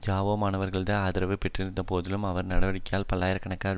Zhao மாணவர்களது ஆதரவை பெற்றபோதிலும் அவரது நடவடிக்கைகளால் பல்லாயிர கணக்கான